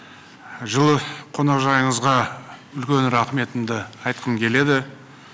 жылы қонақжайлылығыңызға үлкен рахметімді айтқым келеді